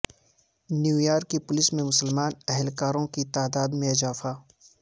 New York کی police میں مسلمان اہلکاروں کی تعداد میں اضافہ